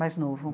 Mais novo.